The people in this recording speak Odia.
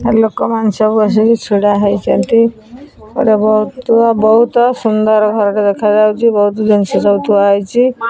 ଲୋକମାନେ ସବୁ ଆସିକି ଛିଡା ହେଇଛନ୍ତି ଗୋଟେ ବହୁତ୍ ବହୁତ୍ ସୁନ୍ଦର ଘରଟେ ଦେଖାଯାଉଛି ବହୁତ ଜିନିଷ ସବୁ ଥୁଆ ହେଇଛି।